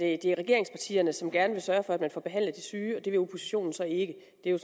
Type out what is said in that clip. at det er regeringspartierne som gerne vil sørge for at man får behandlet de syge og at det vil oppositionen så ikke det er